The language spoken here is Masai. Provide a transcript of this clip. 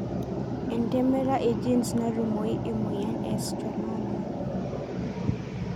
Entemata egenes natumoyu emoyian e schwannoma?